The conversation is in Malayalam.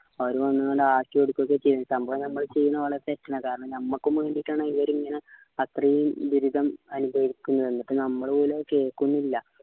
അപ്പോ അവര് വന്നണ്ട് ആട്ടിയോടിക്കൊക്കെ ചെയ്തിട്ട് നമ്മൾ നമ്മളെ ഒലെ ചെയ്യന്നത് തെറ്റ് എന്നെ കാരണം നമ്മക്കും വേണ്ടിട്ട് ആണ് ഇവര് ഇങ്ങനെ അത്രയും ദുരിതം അനുഭവിക്കുന്നെ എന്നിട്ട് നമ്മള് പോലും കേൾക്കുന്നില്ല